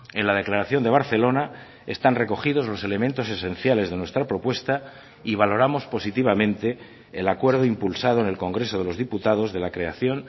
en la declaración de barcelona están recogidos los elementos esenciales de nuestra propuesta y valoramos positivamente el acuerdo impulsado en el congreso de los diputados de la creación